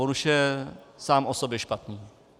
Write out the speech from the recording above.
On už je sám o sobě špatný.